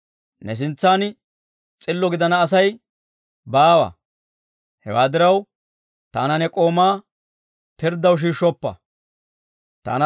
Ne sintsan s'illo gidana Asay baawa; hewaa diraw, taana ne k'oomaa pirddaw shiishshoppa.